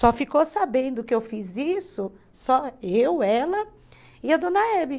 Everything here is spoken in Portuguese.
Só ficou sabendo que eu fiz isso, só eu, ela e a dona Hebe.